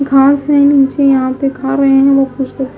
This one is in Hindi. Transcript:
घास है नीचे यहां पे खा रहे हैं कुछ लोग--